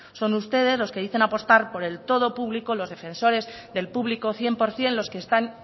son ustedes los que dicen apostar por el todo público los defensores del público cien por ciento los que están